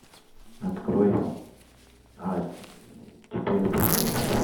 открой а теперь апокалипсис